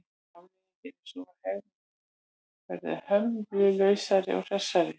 Afleiðingin er sú að hegðun verður hömlulausari og hressari.